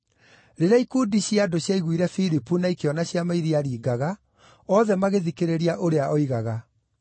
Rĩrĩa ikundi cia andũ ciaiguire Filipu na ikĩona ciama iria aaringaga, othe magĩthikĩrĩria ũrĩa oigaga.